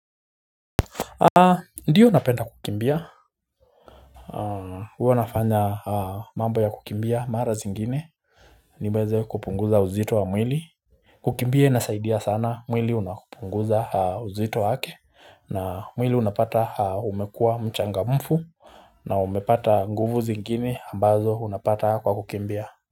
Ndio napenda kukimbia huwa nafanya mambo ya kukimbia mara zingine niweze kupunguza uzito wa mwili kukimbia inasaidia sana mwili unapunguza uzito wake na mwili unapata umekuwa mchangamfu na umepata nguvu zingine ambazo unapata kwa kukimbia.